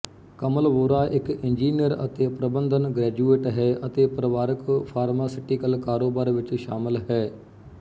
ਕਮਲ ਵੋਰਾ ਇੱਕ ਇੰਜੀਨੀਅਰ ਅਤੇ ਪ੍ਰਬੰਧਨ ਗ੍ਰੈਜੂਏਟ ਹੈ ਅਤੇ ਪਰਿਵਾਰਕ ਫਾਰਮਾਸਿਟੀਕਲ ਕਾਰੋਬਾਰ ਵਿੱਚ ਸ਼ਾਮਲ ਹੈ